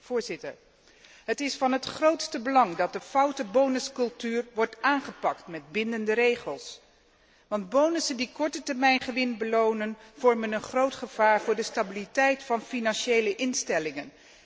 Voorzitter, het is van het grootste belang dat de foute bonuscultuur wordt aangepakt met bindende regels, want bonussen die kortetermijngewin belonen, vormen een groot gevaar voor de stabiliteit van financiële instellingen.